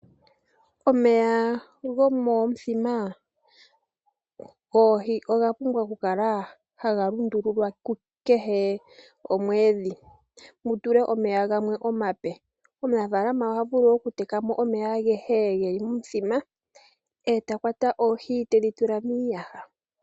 Omeya gomomuthima goohi oga pumbwa oku kala haga lundulwa kehe omwedhi mutulwe omeya gamwe omape. Omunafalama oha vulu oku tekamo omeya agehe geli momuthima eta kwata oohi tedhi tula miiyaha .